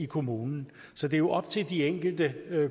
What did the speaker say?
kommune så det er jo op til de enkelte